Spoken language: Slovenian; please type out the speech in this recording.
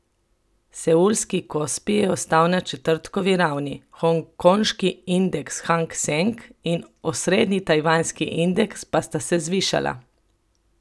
Seulski Kospi je ostal na četrtkovi ravni, hongkonški indeks Hang Seng in osrednji tajvanski indeks pa sta se zvišala.